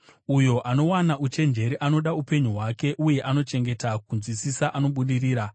Uyo anowana uchenjeri anoda upenyu hwake; uye anochengeta kunzwisisa anobudirira.